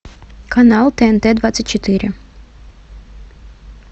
канал тнт двадцать четыре